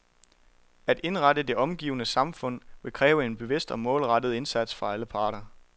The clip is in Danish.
At indrette det omgivende samfund, vil kræve en bevidst og målrettet indsats fra alle parter.